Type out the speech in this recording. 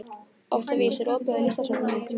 Októvíus, er opið í Listasafninu?